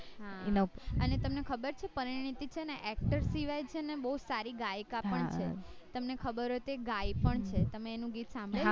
હાને તમને ખબર છે પરીનીતી છે ને actor સિવાય છે ને બૌ સારી ગાયિકા છે તમને ખબર હોય તો એ ગાય પણ છે તમે એનું ગીત સાંભળ્યું છે